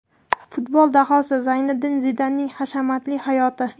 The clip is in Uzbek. Futbol dahosi Zinedin Zidanning hashamatli hayoti.